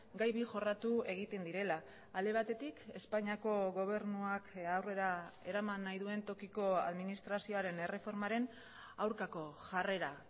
gai bi jorratu egiten direla alde batetik espainiako gobernuak aurrera eraman nahi duen tokiko administrazioaren erreformaren aurkako jarrera